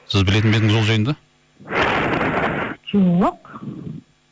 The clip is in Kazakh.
сіз білетін бе едіңіз ол жайында жоқ